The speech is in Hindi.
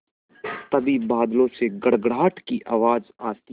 तभी बादलों से गड़गड़ाहट की आवाज़ आती है